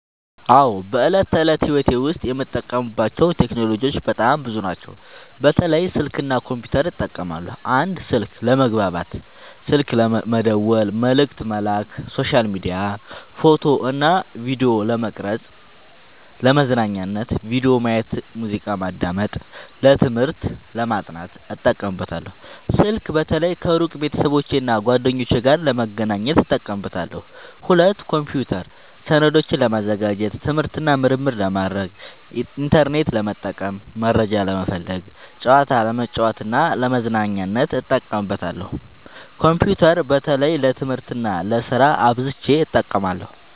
አዎ፣ በዕለት ተዕለት ሕይወቴ ዉስጥ የምጠቀምባቸው ቴክኖሎጂዎች በጣም ብዙ ናቸው፣ በተለይ ስልክ እና ኮምፒውተር እጠቀማለሁ። 1. ስልክ፦ ለመግባባት (ስልክ መደወል፣ መልዕክት መላክ)፣ሶሻል ሚዲያ፣ ፎቶ እና ቪዲዮ ለመቅረጵ፣ ፣ለመዝናኛነት(ቪዲዮ ማየት፣ ሙዚቃ ማዳመጥ)፣ ለትምህርት(ለማጥናት) እጠቀምበታለሁ። ስልክ በተለይ ከሩቅ ቤተሰቦቼና እና ጓደኞቼ ጋር ለመገናኘት እጠቀምበታለሁ። 2. ኮምፒውተር፦ ሰነዶችን ለማዘጋጀት፣ ትምህርት እና ምርምር ለማድረግ፣ ኢንተርኔት ለመጠቀም (መረጃ ለመፈለግ)፣ ጨዋታ ለመጫወት እና ለመዝናኛነት እጠቀምበታለሁ። ኮምፒውተር በተለይ ለትምህርት እና ለስራ አብዝቸ እጠቀማለሁ።